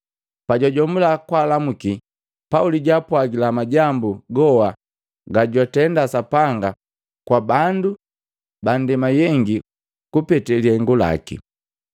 Pajwajomula kwaalamuki, Pauli jwaapwagila majambu goha gajwatenda Sapanga pabandu ba ndema jeyengi kupetee lihengu lakii.